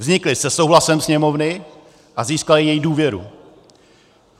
Vznikly se souhlasem Sněmovny a získaly její důvěru.